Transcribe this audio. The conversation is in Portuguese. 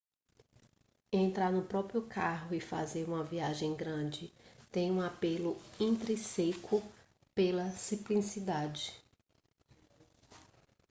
entrar no próprio carro e fazer uma viagem grande tem um apelo intrínseco pela simplicidade